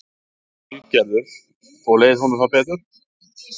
Lillý Valgerður: Og leið honum þá betur?